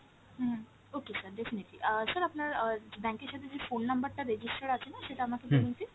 হুম, okay sir definitely অ্যাঁ sir আপনার অ্যাঁ bank এর সাথে যে phone number টা register আছেনা সেটা আমাকে বলুন please।